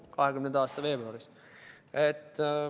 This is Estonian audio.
2020. aasta veebruaris.